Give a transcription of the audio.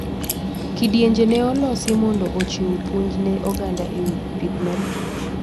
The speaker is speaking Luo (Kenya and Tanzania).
Kidienje ne olosi mondo ochiw puonj ne oganda ewi pith mar kich.